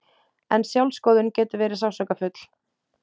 En sjálfsskoðun getur verið sársaukafull.